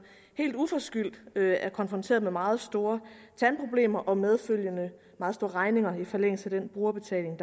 helt uforskyldt er konfronteret med meget store tandproblemer og medfølgende meget store regninger i forlængelse af den brugerbetaling